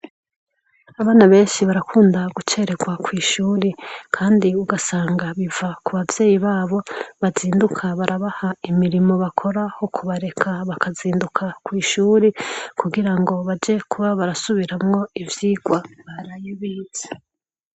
Abana benshi barakunda gucererwa kw'ishure kandi rero ugasanga biva ku bavyeyi babo bazinduka barabaha imirimo bakora aho kubareka bakazinduka kw'ishuri, kugira ngo baje kuba barasubiramwo ivyigwa baraye bize.